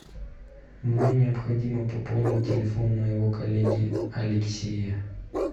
мне необходимо пополнить телефон моего коллеги алексея